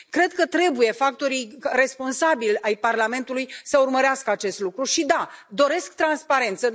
Cred că trebuie ca factorii responsabili ai Parlamentului să urmărească acest lucru, și da, doresc transparență!